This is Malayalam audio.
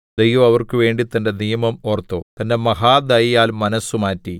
ദൈവം അവർക്കുവേണ്ടി തന്റെ നിയമം ഓർത്തു തന്റെ മഹാദയയാൽ മനസ്സുമാറ്റി